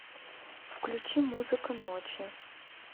включи музыка ночи